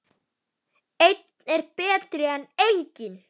Einn er betri en enginn!